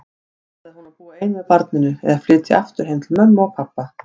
Ætlaði hún að búa ein með barninu, eða flytja aftur heim til mömmu og pabba?